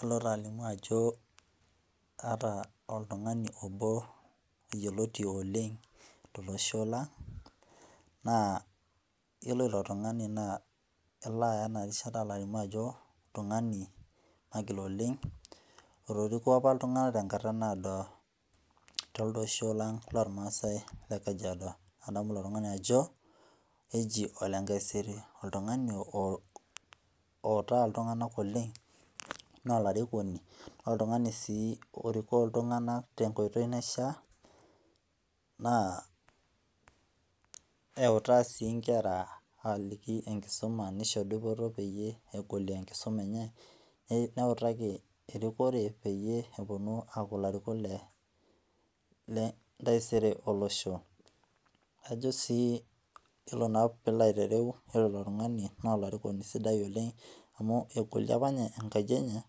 alo taa alimu ajo aata oltung'ani obo yioloti oleng tolosho lang, naa yiolo ilo tung'ani naa alo aya ena rishata alimu ajo oltung'ani magil oleng, otoriko apa iltung'anak tengata naado telido osho lang lormaasae le kajiado. adamu ilo tung'ani ajo eji ole nkaiseri, oltung'ani outaa iltung'anak oleng, naa olarikoni naa oltung'ani sii orikoo iltung'anak te nkoitoi naishaa naa eutaa sii nkera aliki enkisuma neisho dupoto peyiee egolie enkisuma enye neitaki erikore peyie epuonu aaku ilarikok le ntaisere olosho. ajo sii yiolo naa piilo aitereu, yiolo ilo tung'ani nolarikoni sidai oleng amu egolie apa ninye enkaji enye,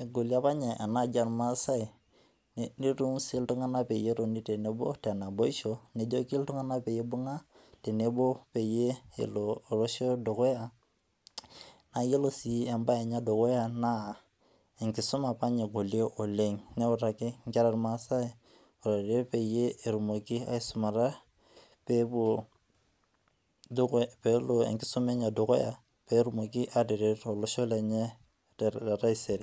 egolie apa ninye enaaji ormaasae neitutum sii iltung'anak pee etoni tenebo te naboisho, nejoki iltung'anak peibung'a tenebo peyie elo olosho dukuya naa iyilo sii ebae enye edukuya naa enkisuma apa ninye egolie oleng neutaki inkera ormaasai airorie peyie etumoki aisumata peepuo peelo enkisuma enye dukuya peetumoki ataret olosho lenye letaisere.